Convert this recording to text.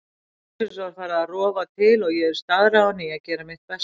Loksins var farið að rofa til og ég var staðráðin í að gera mitt besta.